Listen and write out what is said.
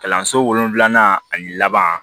Kalanso wolonwula ani laban